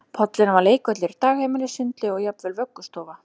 Pollurinn var leikvöllur, dagheimili, sundlaug og jafnvel vöggustofa